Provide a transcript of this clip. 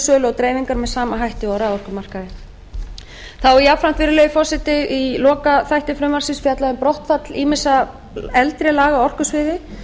sölu og dreifingar með sama hætti og á raforkumarkaði þá er jafnframt virðulegi forseti í lokaþætti frumvarpsins fjallað um brottfall ýmissa eldri laga á orkusviði